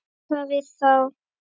Líka við þá.